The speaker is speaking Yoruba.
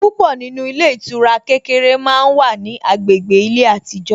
Púpọ̀ nínú ilé ìtura kékeré màá wá ní agbègbè ilé àtijó